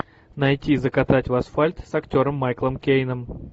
найти закатать в асфальт с актером майклом кейном